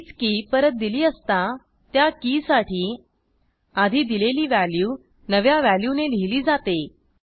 तीच की परत दिली असता त्या कीसाठी आधी दिलेली व्हॅल्यू नव्या व्हॅल्यूने लिहिली जाते